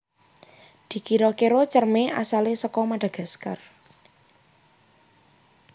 Dikira kira Cerme asale saka Madagaskar